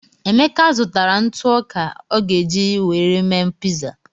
Emeka zụtara ntụ ọka o ga-eji were mee piza.